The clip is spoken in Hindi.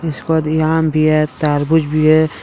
उस पर ये आम भी है तरबूज भी है।